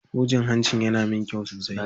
Hujin hancin yana min kyau sosai.